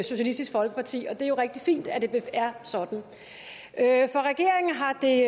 socialistisk folkeparti og det er jo rigtig fint at det er sådan for regeringen har det